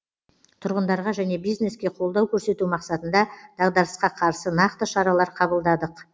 тұрғындарға және бизнеске қолдау көрсету мақсатында дағдарысқа қарсы нақты шаралар қабылдадық